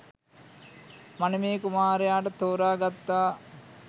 මනමේ කුමාරයාට තෝරා ගත්තා